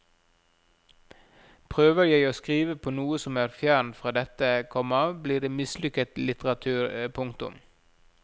Prøver jeg å skrive på noe som er fjernt fra dette, komma blir det mislykket litteratur. punktum